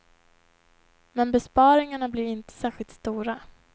Men besparingarna blir inte särskilt stora.